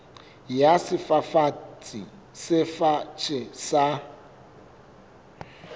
ya sefafatsi se fatshe sa